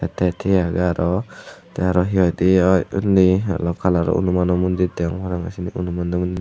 tey thiye agey aro tey aro hi hoidey oi unni ellow kalarow hanumanow mondir degong parapangey sinni anumanw mondi.